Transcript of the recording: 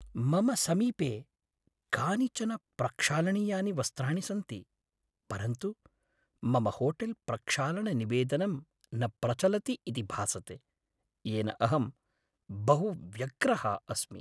मम समीपे कानिचन प्रक्षालनीयानि वस्त्राणि सन्ति, परन्तु मम होटेल्प्रक्षालननिवेदनं न प्रचलति इति भासते, येन अहं बहु व्यग्रः अस्मि।